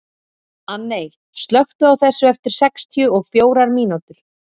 Anney, slökktu á þessu eftir sextíu og fjórar mínútur.